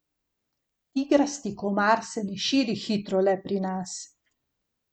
Tigrasti komar se ne širi hitro le pri nas.